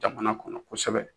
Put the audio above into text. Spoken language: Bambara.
Jamana kɔnɔ kosɛbɛ